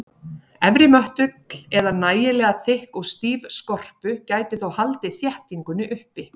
Efri möttull eða nægilega þykk og stíf skorpu gæti þó haldið þéttingunni uppi.